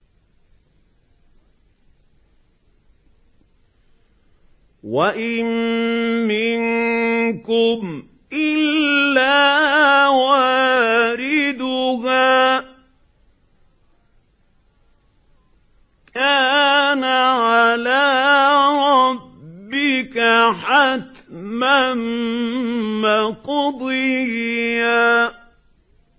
وَإِن مِّنكُمْ إِلَّا وَارِدُهَا ۚ كَانَ عَلَىٰ رَبِّكَ حَتْمًا مَّقْضِيًّا